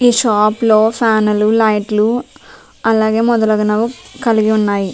ఈ షాప్ లో ఫ్యాన్ లు లైట్ లు అలాగే మొదలగునవి కలిగిఉన్నాయి .